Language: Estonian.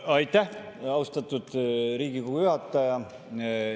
Aitäh, austatud Riigikogu juhataja!